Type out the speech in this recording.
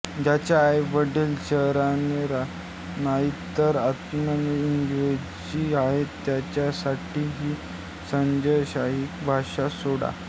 ज्यांचे आईवडील शरीराने नाही तर आत्म्याने इंग्रजी आहेत त्यांच्यासाठी ही सरंजामशाही भाषा सोडा